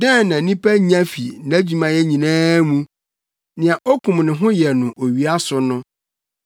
Dɛn na onipa nya fi nʼadwumayɛ nyinaa mu, nea okum ne ho yɛ no owia so no?